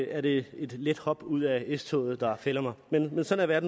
er det et let hop ud af s toget der fælder mig men sådan er